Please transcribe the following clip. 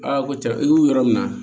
Aa ko cɛ i y'u yɔrɔ min na